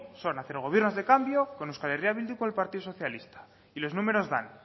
son hacer gobiernos de cambio con euskal herria bildu y con el partido socialista y los números dan